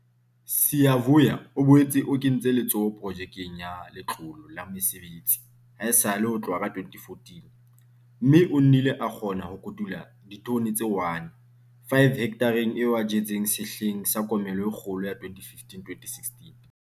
Siyavuya o boetse o kentse letsoho Projekeng ya Letlole la Mesebetsi haesale ho tloha ka 2014, mme o nnile a kgona ho kotula ditone tse 1, 5 hekthareng eo a e jetseng sehleng sa komello e kgolo ya 2015-2016.